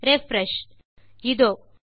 refreshஇதோ